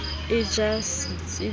e ja setsi le ho